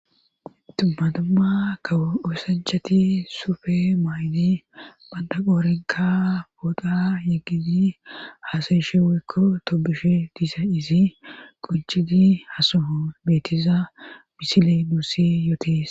Tummatumma kaw uosanchati suufe maayni banda qoorenka booda yeggidi haasayeshe woykko tobushe diiza izi quncidi hasoho beetiza misile nuusi yootees